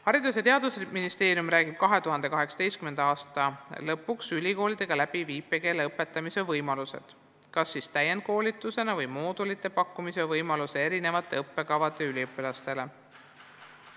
" Haridus- ja Teadusministeerium räägib 2018. aasta lõpuks ülikoolidega läbi viipekeele õpetamise võimalused, kas siis täienduskoolitusena või moodulite pakkumisena erinevate õppekavade üliõpilastele.